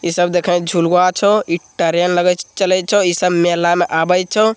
इ सब देखे झुलवा छो इ ट्रेन लगे छो चले छो इ सब मेला में आवे छो।